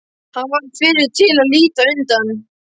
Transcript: Hann varð fyrri til að líta undan.